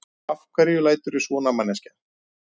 Af hverju læturðu svona, manneskja!